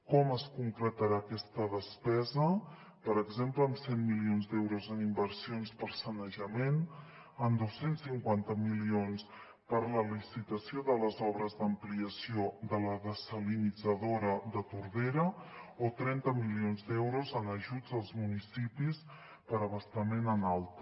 com es concretarà aquesta despesa per exemple amb cent milions d’euros en inversions per a sanejament en dos cents i cinquanta milions per a la licitació de les obres d’ampliació de la dessalinitzadora de tordera o trenta milions d’euros en ajuts als municipis per abastament en alta